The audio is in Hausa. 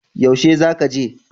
Yaushe za ka je?